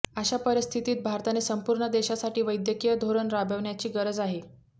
अशा परिस्थितीत भारताने संपूर्ण देशासाठी वैद्यकीय धोरण राबवण्याची गरज आहे